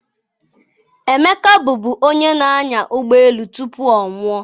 Emeka bụbu onye na-anya ụgbọ elu tupu ọ nwụọ